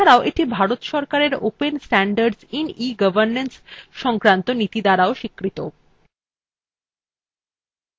এছাড়াও এটি ভারত সরকারের open standards in egovernance সংক্রান্ত নীতি দ্বারা স্বীকৃত